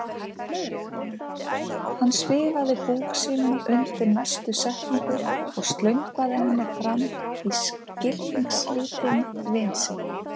Hann svifaði búk sínum undir næstu setningu og slöngvaði henni framan í skilningslítinn vin sinn